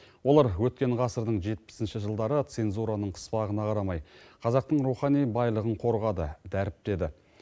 олар өткен ғасырдың жетпісінші жылдары цензураның қыспағына қарамай қазақтың рухани байлығын қорғады дәріптеді